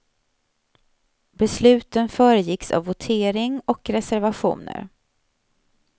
Besluten föregicks av votering och reservationer.